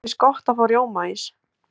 okkur finnst gott að fá rjómaís